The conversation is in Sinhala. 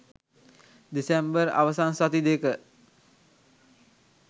දෙසැම්බර් අවසන් සති දෙක